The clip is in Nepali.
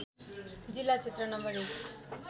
जिल्ला क्षेत्र नं १